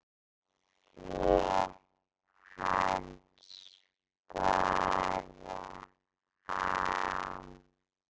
Sauðfé hans bar af.